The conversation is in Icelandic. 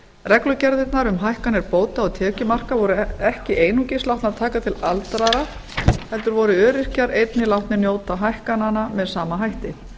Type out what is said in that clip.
reglugerðirnar um hækkun bóta og tekjumarka voru ekki einungis látnar taka til aldraðra heldur voru öryrkjar einnig látnir njóta hækkananna með sama hætti